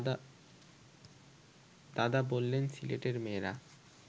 দাদা বললেন সিলেটের মেয়েরা